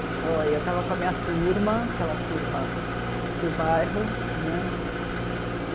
Foi, eu estava com a minha turma, aquela turma do bairro.